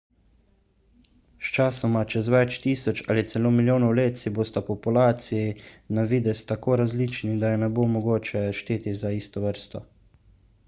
sčasoma čez več tisoč ali celo milijonov let si bosta populaciji na videz tako različni da ju ne bo mogoče šteti za isto vrsto